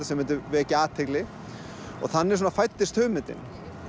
sem myndi vekja athygli og þannig svona fæddist hugmyndin